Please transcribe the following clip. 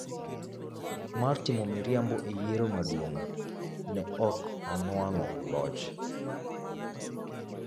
mar timo miriambo e yiero maduong’, ne ok onwang'o loch.